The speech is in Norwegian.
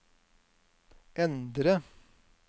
endre